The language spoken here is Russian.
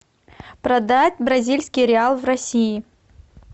продать бразильский реал в россии